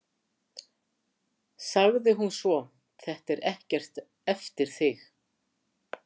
sagði hún svo: Þetta er ekkert eftir þig!